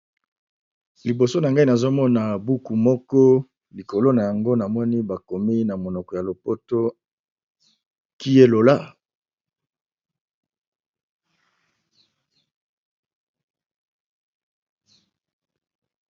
Liboso na nga nazomona buku moko likolo nango bakomi na monoko ya lopoto qui est lola?